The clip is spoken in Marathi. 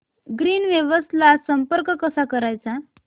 ग्रीनवेव्स ला संपर्क कसा करायचा